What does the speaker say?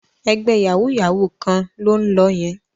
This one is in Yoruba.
Ẹgbẹ́ yàwúú-yàwuù kan ló ń lọ yẹn